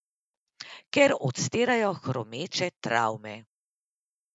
Ker odstirajo hromeče travme.